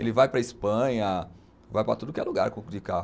Ele vai para a Espanha, vai para tudo que é lugar com, de carro.